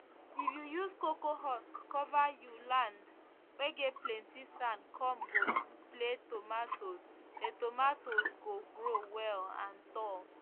if you use cocoa husk cover you land whey get plenty sandcome go play tomatoes the tomatoes go grow well and tall